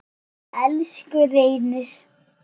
Elsku Reynir.